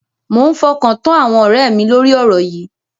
Mo ń fọkàn tán àwọn ọ̀rẹ́ mi lórí ọ̀rọ̀ yìí.